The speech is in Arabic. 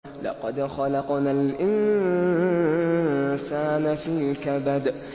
لَقَدْ خَلَقْنَا الْإِنسَانَ فِي كَبَدٍ